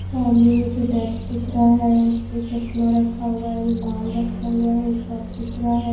सामने मुझे डेक्स दिख रहा है उस पर चश्मा रखा हुआ है रुमाल रखा हुआ है कप दिख रहा है।